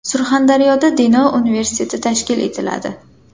Surxondaryoda Denov universiteti tashkil etiladi.